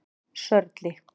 Sörli